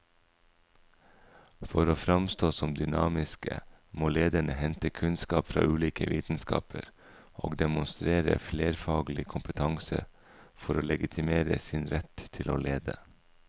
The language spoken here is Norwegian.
For å framstå som dynamiske må lederne hente kunnskap fra ulike vitenskaper og demonstrere flerfaglig kompetanse for å legitimere sin rett til å lede.